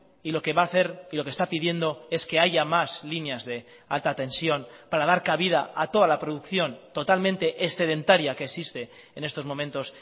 y lo que va a hacer y lo que está pidiendo es que haya más líneas de alta tensión para dar cabida a toda la producción totalmente excedentaria que existe en estos momentos